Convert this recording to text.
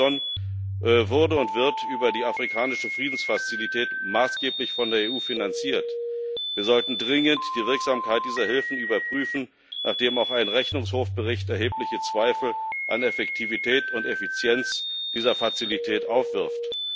Amison wurde und wird über die afrikanische Friedensfazilität maßgeblich von der EU finanziert. Wir sollten dringend die Wirksamkeit dieser Hilfen überprüfen, nachdem auch ein Rechnungshofbericht erhebliche Zweifel an Effektivität und Effizienz dieser Fazilität aufwirft.